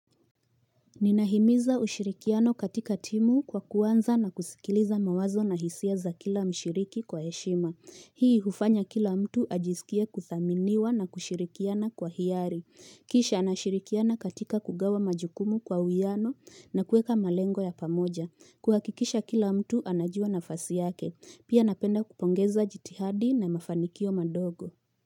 Ninahimiza ushirikiano katika timu kwa kuanza na kusikiliza mawazo na hisia za kila mshiriki kwa heshima. Hii hufanya kila mtu ajisikie kuthaminiwa na kushirikiana kwa hiari. Kisha anashirikiana katika kugawa majukumu kwa uwiyano na kuweka malengo ya pamoja. Kuhakikisha kila mtu anajua nafasi yake. Pia napenda kupongeza jitihadi na mafanikio madogo.